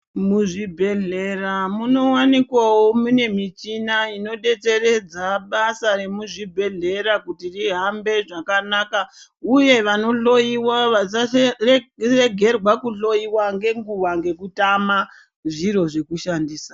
Muzvibhedhlera munowanikwavo mune michina inodetseredza basa remuzvibhedhlera kuti rihambe zvakanaka uye vanohloyiwa vasaregerwa kuhloyiwa ngenguva ngekutama zviro zvekushandisa.